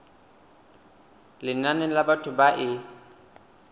lenane la batho ba e